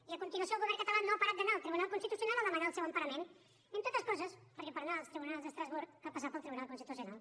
i a continuació el govern català no ha parat d’anar al tribunal constitucional a demanar el seu emparament entre altres coses perquè per anar als tribunals d’estrasburg cal passar pel tribunal constitucional